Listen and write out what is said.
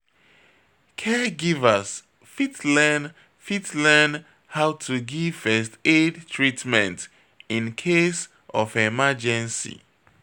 Caregivers fit learn fit learn how to give first aid treatment incase of emergency